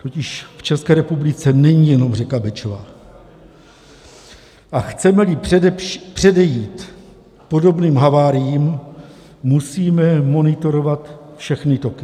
Totižv České republice není jenom řeka Bečva, a chceme-li předejít podobným haváriím, musíme monitorovat všechny toky.